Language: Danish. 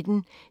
DR P1